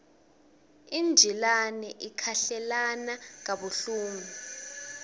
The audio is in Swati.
injilane ikhahlelana kabuhlungu